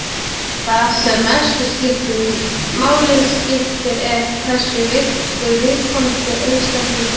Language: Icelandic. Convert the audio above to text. Það sem mestu máli skiptir er hversu virkur viðkomandi einstaklingur er.